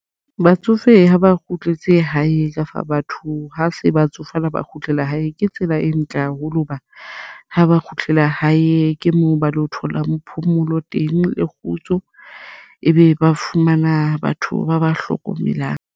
Batsofe ha ba kgutletse hae kafa batho ha se batsofe ha ba kgutlela hae. Ke tsela e ntle haholo hoba ha ba kgutlela hae ke moo ba lo tholang phomolo teng le kgutso ebe ba fumana batho ba ba hlokomelang.